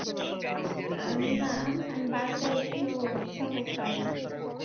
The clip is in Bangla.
ইয়া না আমি বারো টায় উঠলে উৎসাহ পাই।